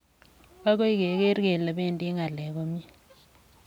Agoi Kegeer kele bendi ng'alek komie.